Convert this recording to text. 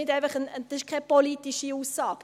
Das ist nicht eine politische Aussage.